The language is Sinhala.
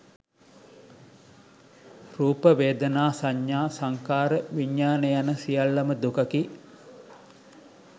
රූප, වේදනා, සඤ්ඤා, සංඛාර, විඤ්ඤාණ යන සියල්ලම දුකකි.